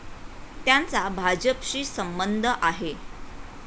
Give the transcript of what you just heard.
त्यांचा भाजपशी संबंध आहे.